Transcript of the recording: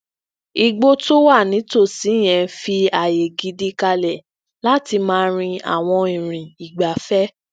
igbó tó wà nítòsí yẹn fi aaye gidi kalẹ láti maa rin awọn irìn igbafẹ